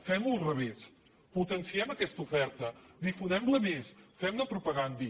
fem ho al revés potenciem aquesta oferta difonem la més fem ne propaganda